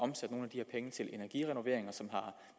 her penge til energirenoveringer som er